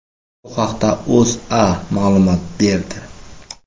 Bu haqda O‘zA ma’lumot berdi .